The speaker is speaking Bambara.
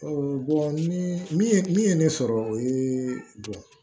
ni min ye min ye ne sɔrɔ o ye bɔn